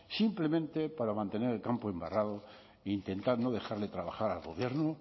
simplemente para mantener el campo embarrado e intentar no dejarle trabajar al gobierno